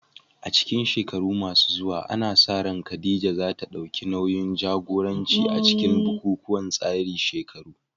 A cikin shekaru masu zuwa, ana sa ran Khadija za ta dauki nauyin jagoranci a cikin bukukuwan tsarin shekaru